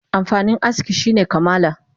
Amfanin aski shine kamala